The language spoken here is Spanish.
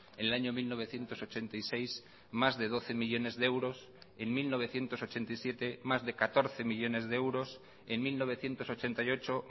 en el año mil novecientos ochenta y seis más de doce millónes de euros en mil novecientos ochenta y siete más de catorce millónes de euros en mil novecientos ochenta y ocho